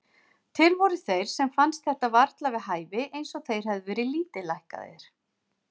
Til voru þeir sem fannst þetta varla við hæfi, eins og þeir hefðu verið lítillækkaðir.